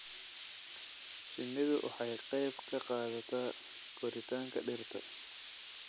Shinnidu waxay ka qayb qaadataa koritaanka dhirta.